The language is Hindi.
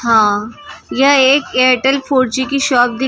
हाँ यह एक एयरटेल फोर जी की शॉप दिख रही हे वोड़ा फोन ।